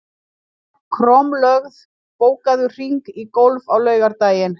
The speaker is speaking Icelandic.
Kormlöð, bókaðu hring í golf á laugardaginn.